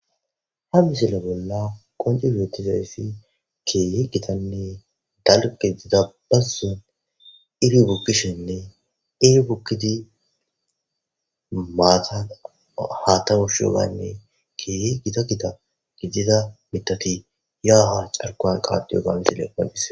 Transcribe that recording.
Ha misile bolla qonci burottizayfi keye gitanne dalgidida bassu iri bukkishinne iri bukkidi maatan hatawushuyogaynne keye gita gita gidida mitati ya'aha carkowan kaadiyo gamisileqqondise.